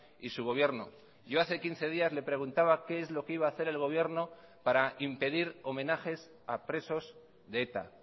y su gobierno yo hace quince días le preguntaba qué es lo que iba a hacer el gobierno para impedir homenajes a presos de eta